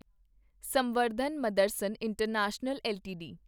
Samvardhana Motherson international LTD